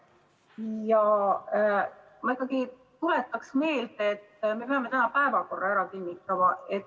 Ja ma tuletan ikkagi meelde, et me peame täna päevakorra ära kinnitama.